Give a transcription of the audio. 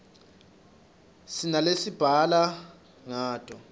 sinalesibhala ngato